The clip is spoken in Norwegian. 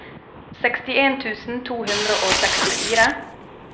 sekstien tusen to hundre og sekstifire